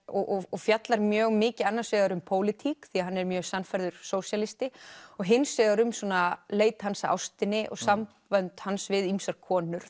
og fjallar mjög mikið annars vegar um pólitík því hann er mjög sannfærður sósíalisti og hins vegar um svona leit hans að ástinni og sambönd hans við ýmsar konur